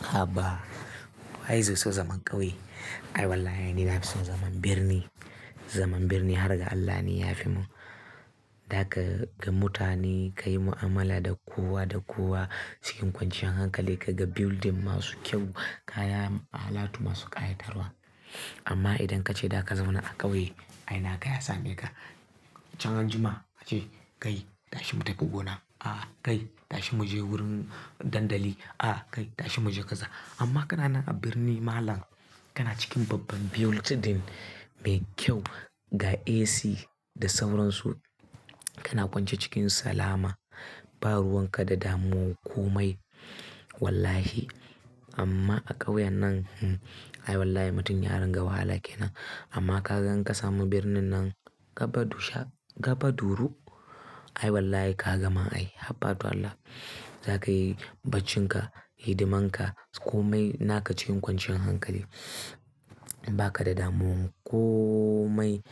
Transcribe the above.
Haba, waye zai so zaman ƙauye? Ai wallahi, ni nafi son zaman birni. Zaman birni har ga Allah ne ya fi mun. Za ka ga mutane ka yi mu'amala da kowa da kowa cikin kwanciyan hankali, ka ga building masu kyau, kayan alatu masu ƙayatarwa. Amma idan ka ce za ka zauna a ƙauye, ai na ka ya same ka. Can anjima a ce "kai tashi mu tafi gona". Aa kai tashi mu je wurin dandali. Ah kai tashi mu je kaza." Amma kana nan a birni malam, kana cikin babban building mai kyau, ga AC da sauransu, Kana kwance cikin salama, ba ruwan ka da damuwan komai wallahi. Amma a ƙauyen nan, ai wallahi mutum ya ringa wahala kenan. Amma ka ga in ka samu birnin nan gaba dusha, gaba duru. Ai wallahi ka gama ai haba do Allah. Za ka yi baccinka, hidimanka komai na ka cikin kwanciyar hankali. Ba ka da damu komai.